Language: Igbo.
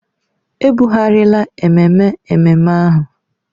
E bụghariala ememe ememme ahụ.